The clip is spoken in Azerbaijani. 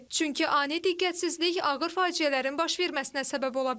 Çünki ani diqqətsizlik ağır faciələrin baş verməsinə səbəb ola bilər.